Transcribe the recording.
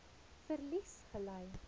verlies gely